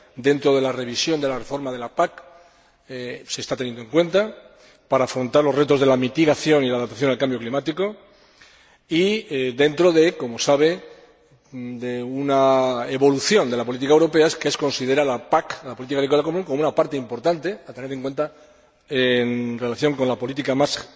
Dentro de la revisión de la reforma de la PAC se está teniendo en cuenta para afrontar los retos de la mitigación y la adaptación al cambio climático y dentro de, como sabe, una evolución de la política europea, que considera a la política agrícola común como una parte importante, a tener en cuenta en relación con la política más